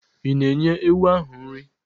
Ị̀ na-enye ewu ahụ nri?